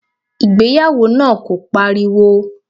Ìgbéyàwó náà kò pariwo.